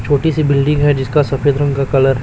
छोटी सी बिल्डिंग है जिसका सफेद रंग का कलर है।